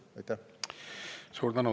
Suur tänu!